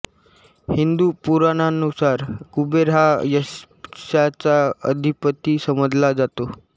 हिंदू पुराणांनुसार कुबेर हा यक्षांचा अधिपति समजला जातो